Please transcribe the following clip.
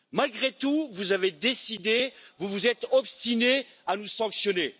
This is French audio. Malgré tout, vous avez décidé, vous vous êtes obstinés à nous sanctionner.